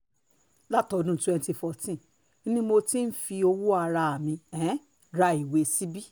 láti ọdún twenty fourteen ni mo ti ń um fi owó ara mi um ra ìwé síbí